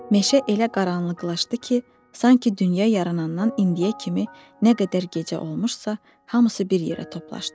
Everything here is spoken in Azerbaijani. Meşə elə qaranlıqlaşdı ki, sanki dünya yaranandan indiyə kimi nə qədər gecə olmuşsa, hamısı bir yerə toplandı.